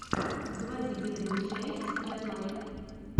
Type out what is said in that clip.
заводи первую часть каилайк